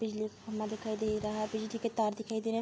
बिजली का खम्बा दिखाई दे रहा है बिजली के तार दिखाई दे रहे हैं।